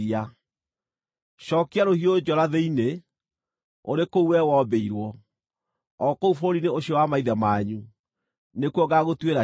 Cookia rũhiũ njora thĩinĩ. Ũrĩ kũu wee wombĩirwo, o kũu bũrũri-inĩ ũcio wa maithe manyu, nĩkuo ngaagũtuĩra ciira.